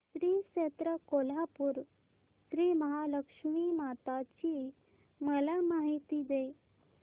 श्री क्षेत्र कोल्हापूर श्रीमहालक्ष्मी माता ची मला माहिती दे